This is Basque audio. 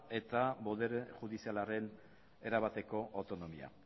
eta botere judizialaren erabateko autonomia